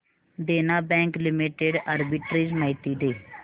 देना bank limited arbitrage माहिती दे